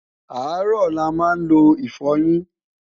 arọ là má n ló ifoyin